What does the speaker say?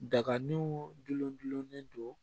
Daganiw gulon gulonlen don